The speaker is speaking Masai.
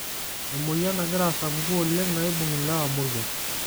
Emoyian nagira asapuku oleng' naibung' lewa moruak.